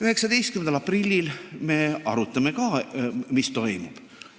19. aprillil me arutame ka, mis toimub.